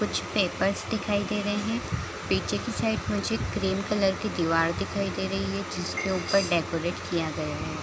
कुछ पेपर्स दिखाई दे रहें हैं पीछे की साइड मुझे ग्रीन कलर की दिवार दिखाई दे रही है जिस के ऊपर डेकोरेट किया गया है।